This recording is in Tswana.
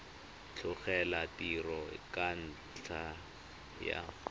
tlogela tiro ka ntlha ya